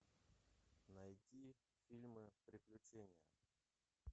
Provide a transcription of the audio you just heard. найти фильмы приключения